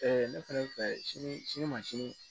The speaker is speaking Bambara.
ne fɛnɛ fɛ sini sini ma sini